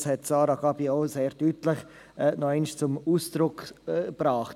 Dies hat Sarah Gabi sehr deutlich noch einmal zum Ausdruck gebracht.